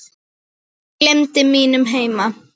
Ég gleymdi mínum heima